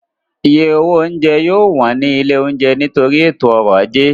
Iye owó oúnjẹ yóò wọ́n ní ilé oúnjẹ nítorí ètò ọ̀rọ̀ ajé